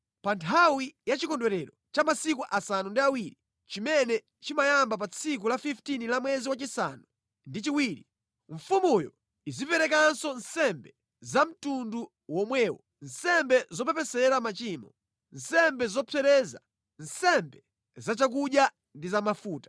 “ ‘Pa nthawi ya chikondwerero cha masiku asanu ndi awiri, chimene chimayamba pa tsiku la 15 la mwezi wachisanu ndi chiwiri, mfumuyo iziperekanso nsembe za mtundu womwewo: nsembe zopepesera machimo, nsembe zopsereza, nsembe za chakudya ndi za mafuta.’ ”